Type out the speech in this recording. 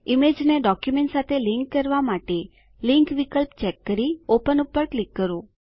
ઈમેજને ડોક્યુંમેંટ સાથે લીંક કરવા માટે લિંક વિકલ્પ ચેક કરી ઓપન પર ક્લિક કરો